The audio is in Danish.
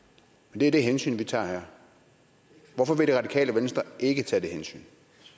det er det hensyn vi tager her hvorfor vil det radikale venstre ikke tage det hensyn